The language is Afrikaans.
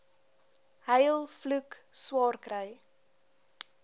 huil vloek swaarkry